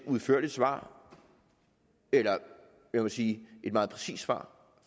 udførligt svar eller lad mig sige et meget præcist svar